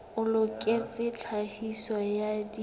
o loketseng tlhahiso ya dijothollo